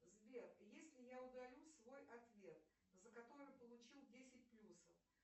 сбер если я удалю свой ответ за который получил десять плюсов